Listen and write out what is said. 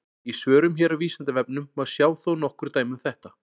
Í svörum hér á Vísindavefnum má sjá þó nokkur dæmi um þetta.